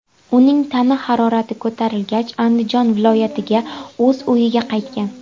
Uning tana harorati ko‘tarilgach, Andijon viloyatiga, o‘z uyiga qaytgan.